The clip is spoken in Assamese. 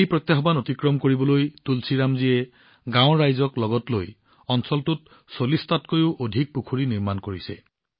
এই প্ৰত্যাহ্বান অতিক্ৰম কৰিবলৈ তুলসীৰাম জীয়ে গাঁৱৰ ৰাইজক লগত লৈ অঞ্চলটোত ৪০ টাতকৈও অধিক পুখুৰী নিৰ্মাণ কৰিছে